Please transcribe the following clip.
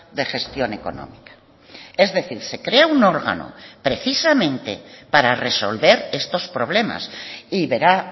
de gestión económica es decir se crea un órgano precisamente para resolver estos problemas y verá